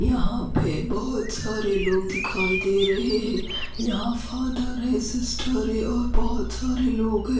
यहाँ पे बोहोत सारे लोग दिखाई दे रहे है यहाँ फादर है सिस्टर है और बोहोत सारे लोग है।